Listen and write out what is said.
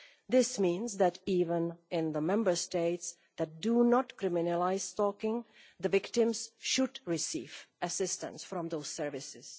This means that, even in the Member States that do not criminalise stalking, the victims should receive assistance from those services.